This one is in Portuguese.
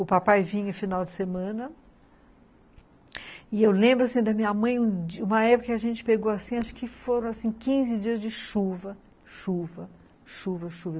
O papai vinha em final de semana, e eu lembro, assim, da minha mãe, uma época que a gente pegou, assim, acho que foram, assim, quinze dias de chuva, chuva, chuva, chuva.